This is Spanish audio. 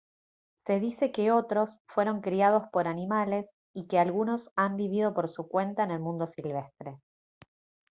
se dice que otros fueron criados por animales y que algunos han vivido por su cuenta en el mundo silvestre